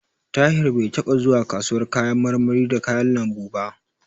Tahir bai taɓa zuwa kasuwar kayan marmari da kayan lambu ba.